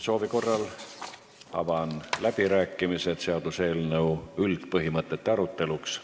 Soovi korral avan läbirääkimised seaduseelnõu üldpõhimõtete aruteluks.